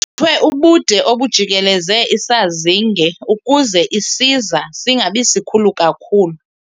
Kucuthwe ubude obujikeleze isazinge ukuze isiza singabi sikhulu kakhulu.